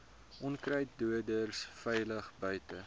onkruiddoders veilig buite